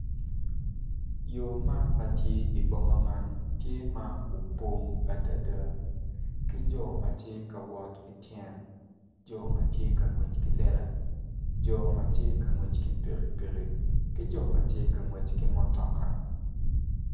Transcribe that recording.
Yo man ma tye i boma man tye ma opong adada ki jo ma tye ka wot ki tyen ki jo ma tye ka ngwec ki lela jo ma tye ngwec ki pikipiki ki jo ma tye ma ngwec ki mutoka